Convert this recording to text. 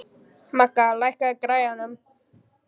Magga, lækkaðu í græjunum.